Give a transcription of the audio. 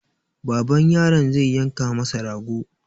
Baban yaron zai yanka masa rago.